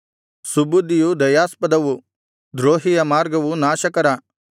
ಸುಬುದ್ಧಿಯು ದಯಾಸ್ಪದವು ದ್ರೋಹಿಯ ಮಾರ್ಗವು ನಾಶಕರ